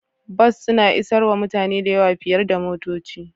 Bas suna isarwa mutane da yawa fiyar da motoci.